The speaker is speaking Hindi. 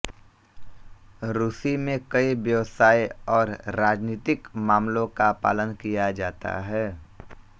रूसी में कई व्यवसाय और राजनीतिक मामलों का पालन किया जाता है